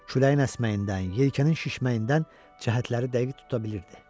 Küləyin əsməyindən, yelkənin şişməyindən cəhətləri dəqiq tuta bilirdi.